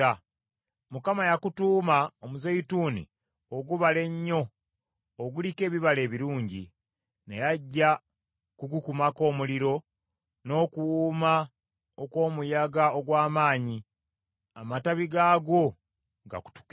Mukama yakutuuma Omuzeyituuni ogubala ennyo, oguliko ebibala ebirungi. Naye ajja kugukumako omuliro n’okuwuuma okw’omuyaga ogw’amaanyi, amatabi gaagwo gakutuke.